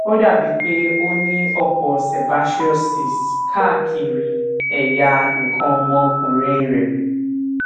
ó dàbíi pé o ní ọpọ sebaceous cysts káàkiri ẹyà nǹkan ọmọkùnrin rẹ